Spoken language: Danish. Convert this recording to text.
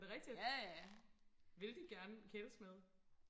er det rigtigt vil de gerne kæles med